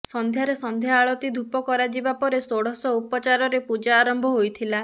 ସନ୍ଧ୍ୟାରେ ସଂଧ୍ୟା ଆଳତି ଧୂପ କରାଯିବା ପରେ ଷୋଡଶ ଉପଚାରରେ ପୂଜା ଆରମ୍ଭ ହୋଇଥିଲା